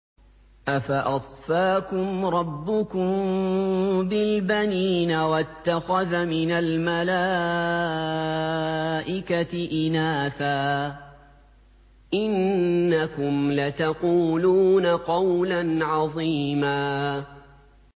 أَفَأَصْفَاكُمْ رَبُّكُم بِالْبَنِينَ وَاتَّخَذَ مِنَ الْمَلَائِكَةِ إِنَاثًا ۚ إِنَّكُمْ لَتَقُولُونَ قَوْلًا عَظِيمًا